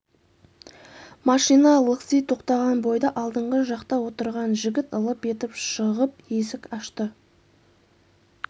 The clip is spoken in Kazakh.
машина лықси тоқтаған бойда алдыңғы жақта отырған жігіт лып етіп шығып есік ашты